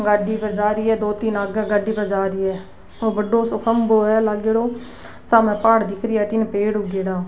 गाड़ी पे जा रही है दो तीन आगे गाड़ी पे जा रही है ओ बड़ो सो खम्भों है लागेड़ो सामने पहाड़ दिख रही अठीने पेड़ उगेडा --